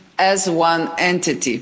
as one entity.